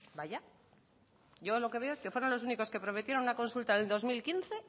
vaya yo lo que veo es que fueron los únicos que prometieron una consulta en el dos mil quince